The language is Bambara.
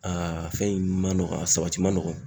fɛn in ma nɔgɔ a sabati ma nɔgɔn.